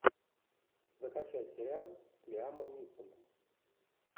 закачай сериал с лиамом нисоном